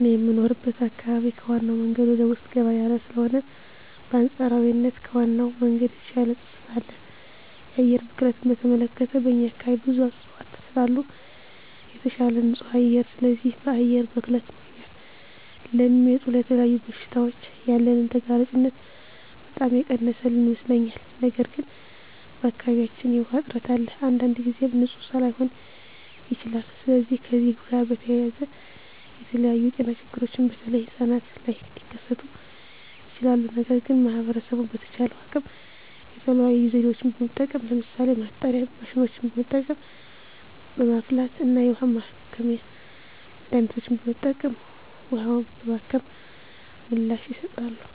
እኔ የምኖርበት አካባቢ ከዋናው መንገድ ወደ ውስጥ ገባ ያለ ስለሆነ በአንፃራዊነት ከዋናው መንገድ የተሻለ ፀጥታ አለ። የአየር ብክለትን በተመለከተ በእኛ አካባቢ ብዙ እፅዋት ስላሉ የተሻለ ንፁህ አየር አለ። ስለዚህ በአየር ብክለት ምክንያት ለሚመጡ ለተለያዩ በሽታዎች ያለንን ተጋላጭነት በጣም የቀነሰልን ይመስለኛል። ነገር ግን በአካባቢያችን የዉሃ እጥረት አለ። አንዳንድ ጊዜም ንፁህ ላይሆን ይችላል። ስለዚህ ከዚህ ጋር በተያያዘ የተለያዩ የጤና ችግሮች በተለይ ህጻናት ላይ ሊከስቱ ይችላሉ። ነገር ግን ማህበረሰቡ በተቻለው አቅም የተለያዩ ዘዴዎችን በመጠቀም ለምሳሌ ማጣሪያ ማሽኖችን በመጠቀም፣ በማፍላት እና የውሀ ማከሚያ መድሀኒቶችን በመጠቀም ውሀውን በማከም ምላሽ ይሰጣሉ።